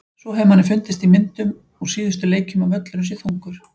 Svo hefur manni fundist í myndum úr síðustu leikjum að völlurinn sé þungur.